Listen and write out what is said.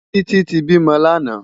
Titi ti bímò làná